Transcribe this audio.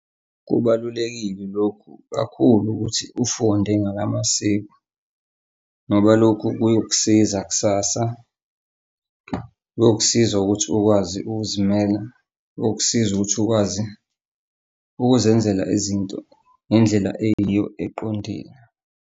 Kubalulekile lokhu kakhulu ukuthi ufunde ngala masiko ngoba lokhu kuyokusiza kusasa, kuyokusiza ukuthi ukwazi ukuzimela, kuyokusiza ukuthi ukwazi ukuzenzela izinto ngendlela eyiyo eqondile.